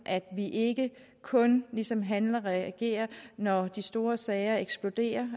at vi ikke kun ligesom handler og reagerer når de store sager eksploderer